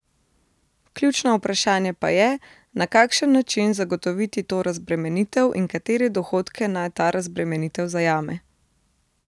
Ključno vprašanje pa je, na kakšen način zagotoviti to razbremenitev in katere dohodke naj ta razbremenitev zajame.